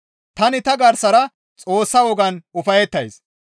Tani ta gaaththara Xoossa wogaan ufayettays.